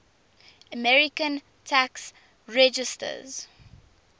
american tax resisters